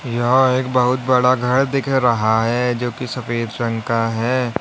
यहां एक बहुत बड़ा घर दिख रहा है जो कि सफेद रंग का है।